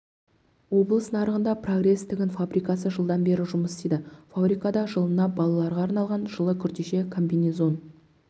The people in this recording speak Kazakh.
облыс нарығында прогресс тігін фабрикасы жылдан бері жұмыс істейді фабрикада жылына балаларға арналған жылы күртеше комбинезон